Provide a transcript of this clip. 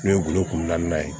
N'o ye golo kunna ye